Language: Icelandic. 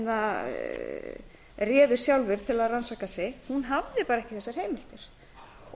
lífeyrissjóðirnir réðu sjálfir til að rannsaka sig hún hafði ekki þessar heimildir og